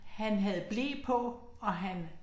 Han havde ble på og han